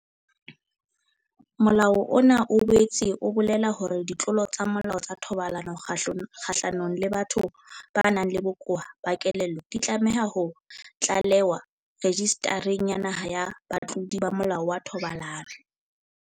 Molao ona o boetse o bolela hore ditlolo tsa molao tsa thobalano kgahlanong le batho ba nang le bokowa ba kelello di tlameha ho tlalewa Rejistareng ya Naha ya Batlodi ba Molao wa Thobalano.